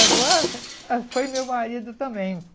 Agora, foi meu marido também.